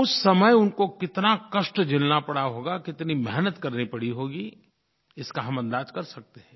उस समय उनको कितना कष्ट झेलना पडा होगा कितनी मेहनत करनी पड़ी होगी इसका हम अंदाज़ कर सकते हैं